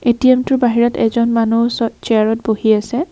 ATM টোৰ বাহিৰত এজন মানুহ ওচৰত চিয়াৰত বহি আছে।